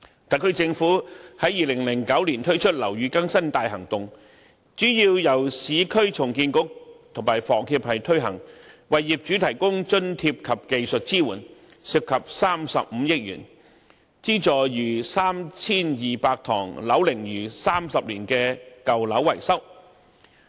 特區政府於2009年推出"樓宇更新大行動"，主要由市區重建局與香港房屋協會推行，為業主提供津貼及技術支援，涉及35億元，資助逾 3,200 幢樓齡逾30年的舊樓進行維修。